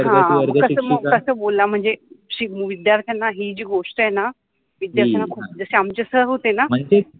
एक वर्ग शिक्षिका, कस बोलनार, कस बोलनार म्हनजे विद्यार्थ्याना हि जि गोष्ट आहेन विद्यार्थ्याना खुप मनजे जशे आमचे सर होते न